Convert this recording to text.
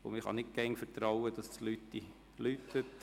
Da können Sie nicht darauf vertrauen, dass die Klingel läutet.